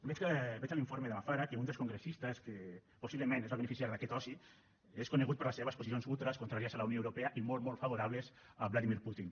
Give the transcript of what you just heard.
veig a l’informe de la fara que un dels congressistes que possiblement es va beneficiar d’aquest oci és conegut per les seves posicions ultres contràries a la unió europea i molt molt favorables a vladimir putin